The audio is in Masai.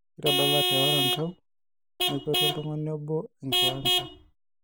Kitadalate oerankau nekwetu oltung'ani obo enkiwanja.